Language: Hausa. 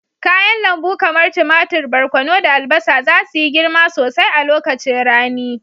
Kayan lambu kamar tumatir, barkono, da albasa za su yi girma sosai a lokacin rani.